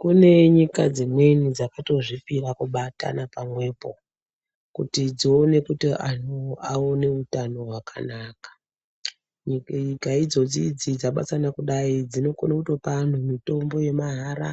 Kune nyika dzimweni dzakatozvipira kubatana pamwepo kuti dzione kuti vantu vaone utano hwakanaka. Nyika idzodzi idzi dzabatana kudai dzinokona kupa antu mitombo yemahara